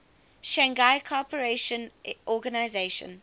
shanghai cooperation organization